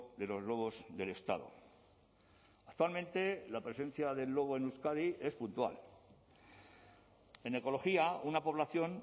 de los lobos del estado actualmente la presencia del lobo en euskadi es puntual en ecología una población